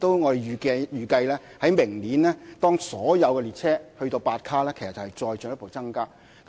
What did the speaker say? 我們亦預計，明年所有列車悉數增至8卡後，載客量其實會再進一步增加。